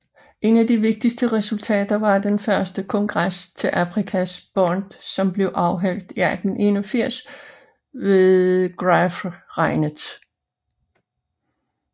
Et af de vigtigste resultater var den første kongres til Afrikaner Bond som blev afholdt i 1881 ved Graaf Reinet